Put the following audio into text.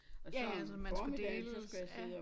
Ja ja så man skulle deles ja